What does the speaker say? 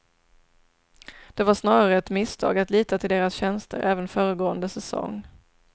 Det var snarare ett misstag att lita till deras tjänster även föregående säsong.